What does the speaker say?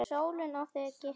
Sólin á þig geislum helli!